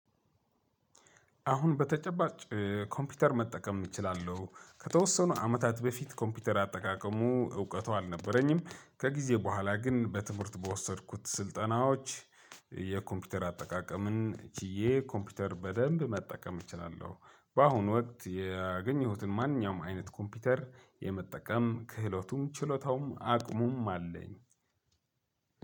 አሁን በተጨባጭ ኮምፒተር መጠቀም እችላለሁ ከተወሰኑ አመታት በፊት ኮምፒተር አጠቃቀሙ እውቀቱ አልነበረኝም ከጊዜ በኋላ ግን በትምህርት በወሰድኩት ስልጠናዎች የኮምፒተር አጠቃቀምን ችዬ ኮምፒተር በደንብ መጠቀም እችላለሁ። በአሁኑ ወቅት ያገኘሁትን ማንኛውም አይነት ኮምፒተር የመጠቀም ክህለቱም ችሎታውም አቅሙም አለኝ።